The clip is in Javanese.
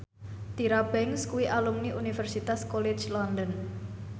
Tyra Banks kuwi alumni Universitas College London